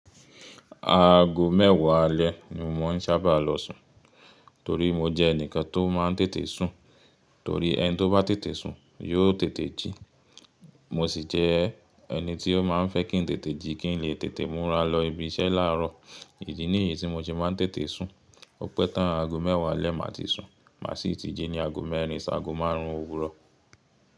Aago mẹ́wàá alẹ́ ni mò ń sábà lọ sùn, torí mo jẹ́ ẹnìkan tó máa ń tètè sùn, torí ẹni tó bá tètè sùn yóò tètè jí. Mo sì jẹ́ ẹni tí ó máa ń fẹ́ kí ń tètè jí kí ń lè tètè múra lọ ibi iṣẹ́ láàárọ̀. Idí ní yí tí mo se máa ń tètè sùn. Ọpẹ́ tán aago mẹ́wàá alẹ́ màá ti sùn, màá sì tí jí ní aago mẹ́rin sí aago márùn-ún òwúrọ̀.